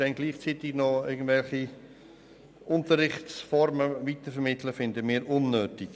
Gleichzeitig noch irgendwelche Unterrichtsformen weiterzuvermitteln, erachten wir als unnötig.